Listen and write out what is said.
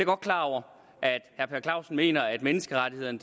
godt klar over at herre per clausen mener at menneskerettighederne